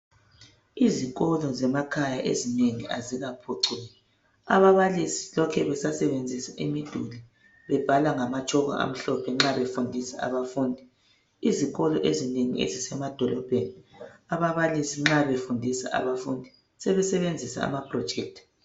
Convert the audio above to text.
Izikolo zemakhaya ezinengi azikaphucuki ababalisi lokhe besasebenzisa imiduli bebhla ngamatshoko amhlophe nxa befundisa abafundi izikolo ezinengi ezisemadolobheni ababalisi nxa befundisa abafundi sebesebenzisa ama projector.